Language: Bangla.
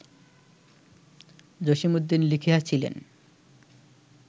জসীমউদ্দীন লিখিয়াছিলেন